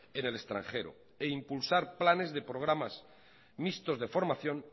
en el extranjero e impulsar planes de programas mixtos de formación